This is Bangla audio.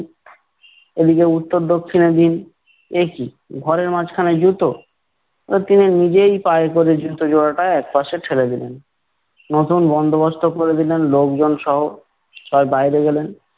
এদিকে উত্তর দক্ষিণে দিন। একি? ঘরের মাঝখানে জুতো? বলে, তিনি নিজেই পায়ে করে জুতো জোড়াটা একপাশে ঠেলে দিলেন। নতুন বন্দোবস্ত করে দিলেন লোকজন সহ। তবে বাইরে গেলেন-